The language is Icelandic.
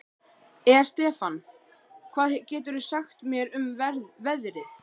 Estefan, hvað geturðu sagt mér um veðrið?